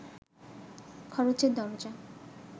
খরচের দরজা